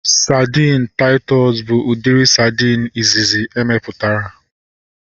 Sadin Taịtọs bụ udiri sadin izizi emeputara